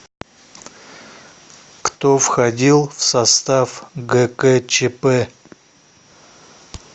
кто входил в состав гкчп